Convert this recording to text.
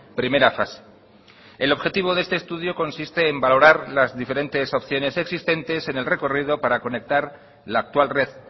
primera fase el objetivo de este estudio consiste en valorar las diferentes opciones existentes en el recorrido para conectar la actual red